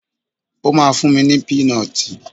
Ó ma fún mi ní pínọtì.